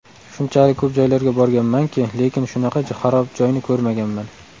Shunchalik ko‘p joylarga borganmanki, lekin shunaqa xarob joyni ko‘rmaganman.